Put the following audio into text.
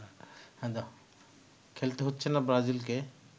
খেলতে হচ্ছে না ব্রাজিলকে